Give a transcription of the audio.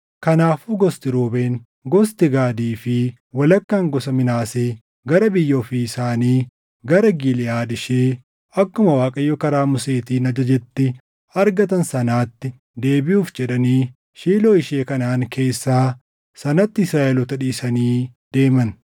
Kanaafuu gosti Ruubeen, gosti Gaadii fi walakkaan gosa Minaasee gara biyya ofii isaanii gara Giliʼaad ishee akkuma Waaqayyo karaa Museetiin ajajetti argatan sanaatti deebiʼuuf jedhanii Shiiloo ishee Kanaʼaan keessaa sanatti Israaʼeloota dhiisanii deeman.